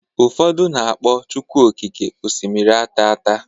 Ụfọdụ na-akpọ chukwu oké osimiri ataata..